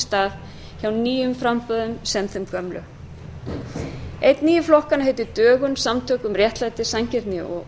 stað hjá nýjum framboðum jafnt og þeim gömlu einn nýju flokkanna heitir dögun samtök um réttlæti sanngirni og